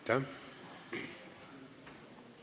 Istungi lõpp kell 15.14.